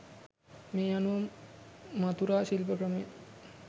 මේ අනුව මථුරා ශිල්ප ක්‍රමය